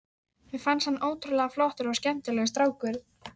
Mér fannst hann ótrúlega flottur og skemmtilegur strákur.